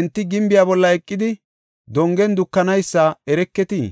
Enti gimbiya bolla eqidi dongen dukanaysa ereketii?